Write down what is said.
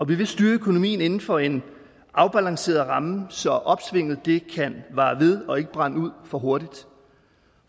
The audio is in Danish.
vi vil styre økonomien inden for en afbalanceret ramme så opsvinget kan vare ved og ikke brænder ud for hurtigt